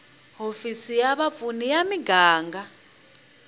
hofisi ya vapfuni ya muganga